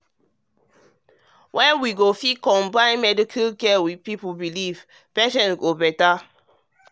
when we fit combine medical care with people belief patients go dey better.